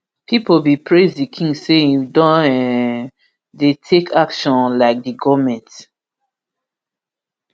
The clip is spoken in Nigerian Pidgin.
pipo bin praise di king say im don um dey take action unlike di goment